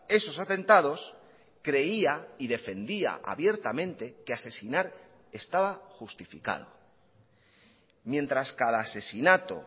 esos atentados creía y defendía abiertamente que asesinar estaba justificado mientras cada asesinato